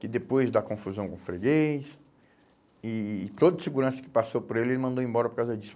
Que depois dá confusão com o Freguês e e todo segurança que passou por ele, ele mandou embora por causa disso.